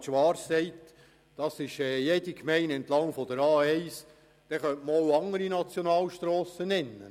Wenn Grossrat Schwarz sagt, dass dies jede Gemeinde entlang der A1 betreffe, dann könnte man auch noch andere Nationalstrassen nennen.